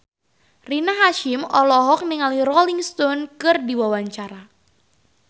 Rina Hasyim olohok ningali Rolling Stone keur diwawancara